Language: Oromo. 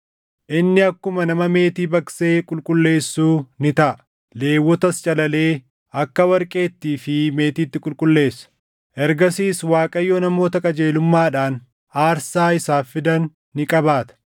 Inni akkuma nama meetii baqsee qulqulleessuu ni taʼa; Lewwotas calalee akka warqeettii fi meetiitti qulqulleessa. Ergasiis Waaqayyo namoota qajeelummaadhaan aarsaa isaaf fidan ni qabaata;